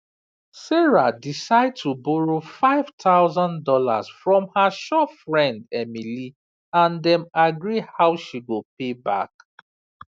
sarah decide to borrow five thousand dollars from her sure friend emily and dem agree how she go pay back